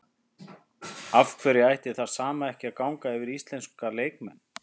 Af hverju ætti það sama ekki að ganga yfir íslenska leikmenn?